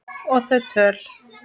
Og þau töl